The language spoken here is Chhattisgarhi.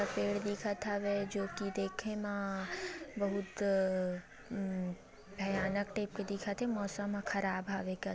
पेड़ दिखत हवे जोकि देखे म बहुत अम् भयानक टाइप के दिखत हे मौसम ह ख़राब हावे क--